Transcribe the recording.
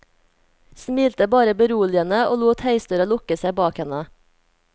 Smilte bare beroligende og lot heisdøra lukke seg bak henne.